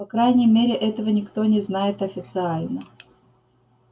по крайней мере этого никто не знает официально